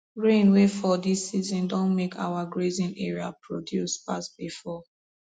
rain wey fall this season don make our grazing area produce pass before